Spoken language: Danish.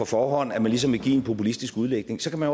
forhånd at man ligesom vil give det en populistisk udlægning så kan man